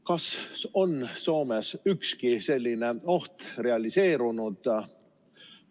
Kas on Soomes ükski selline oht realiseerunud?